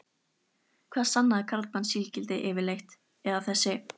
Hvað sannaði karlmannsígildið yfirleitt, eða þessi